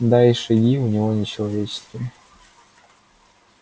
да и шаги у него не человеческие